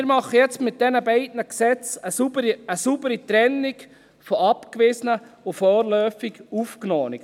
Mit diesen beiden Gesetzen machen wir jetzt eine saubere Trennung zwischen Abgewiesenen und vorläufig Aufgenommenen.